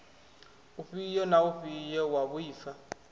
ufhio na ufhio wa vhuaifa